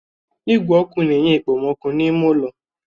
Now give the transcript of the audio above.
Igwe ọkụ na-enye okpomọkụ n'ime ulọ.